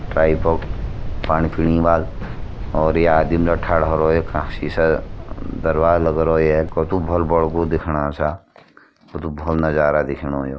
पाणी पीणी वाल और ये आदिम सीशा दरवाज लगो रोया कतू भलू बडो खुब दिख्योणा छा क तु भलो नजारा दिख्योणु यो।